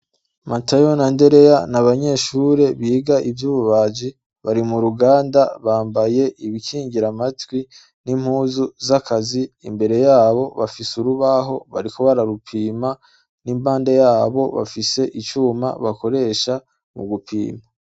Matayo na ndereya n'abanyeshure biga ivyo ububaji bari mu ruganda bambaye ibikingira matwi n'impuzu z'akazi. Imbere yabo bafise urubaho bariko bararupima n'impande yabo, bafise icuma bakoresha mu gupimpa.